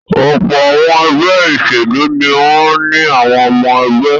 Ọ̀pọ̀ àwọn ẹgbẹ́ ìṣèlú ni wọ́n ní àwọn ọmọ-ẹgbẹ́.